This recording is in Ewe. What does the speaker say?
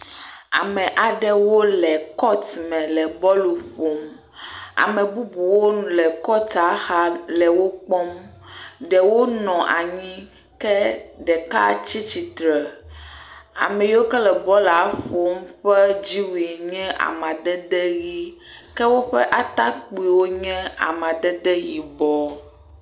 Ame aɖewo le kɔtu me le bɔlu ƒom. Ame bubuwo le kɔtua xa le wo kpɔm. Ɖewo nɔ anyi ke ɖeka tsi tsitre. Ame yiwo ke nɔ bɔl la ƒom ƒe dziwui nye amadede ʋi ke woƒe atakpuiwo nye amadede yibɔ.